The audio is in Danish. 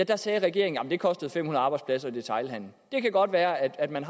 der sagde regeringen at det kostede fem hundrede arbejdspladser i detailhandelen det kan godt være at man